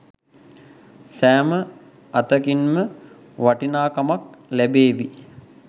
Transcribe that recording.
සෑම අතකින්ම වටිනාකමත් ලැබේවි.